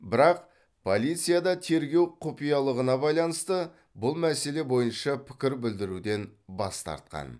бірақ полицияда тергеу құпиялығына байланысты бұл мәселе бойынша пікір білдіруден бас тартқан